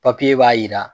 b'a jira